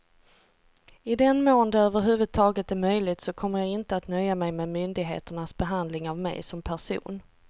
I den mån det över huvud taget är möjligt så kommer jag inte att nöja mig med myndigheternas behandling av mig som person.